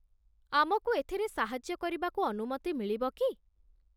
ଆମକୁ ଏଥିରେ ସାହାଯ୍ୟ କରିବାକୁ ଅନୁମତି ମିଳିବ କି?